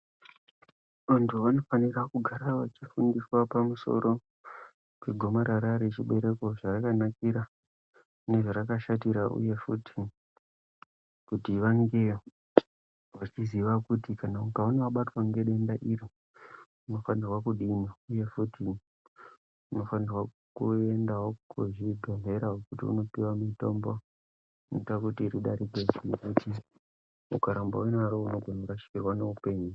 Vantu vanofanira kugara vechifundiswa pamusoro pegomarara rechibereko zvarakanakira nezvarakashatira. Uye futi kuti vange vachiziva kuti kana ukaona wabatwa ngedenda iri unofanirwa kudini. Uye futi unofanirwa kuendawo kuzvibhedhlera kuti unopihwa mutombo inoita kuti ridarike. Ukaramba unaro unogona kurashikirwa neupenyu.